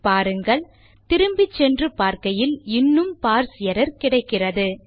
பாருங்கள் திரும்பி சென்று பார்க்கையில் இன்னும் பார்ஸ் எர்ரர் கிடைக்கிறது